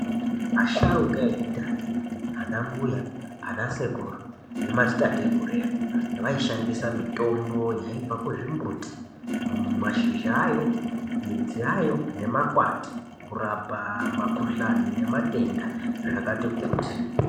Asharukwa ekudhaya anambuya, anasekuru nemadzitateguru edu, vaishandisa mitombo yaibva kuzvimbuti, mashizha ayo, midzi yayo nemakwati kurapa makhuhlani nematenda zvakati kuti.